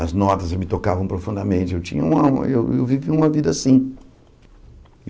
As notas me tocavam profundamente, eu tinha uma eu vivia uma vida assim.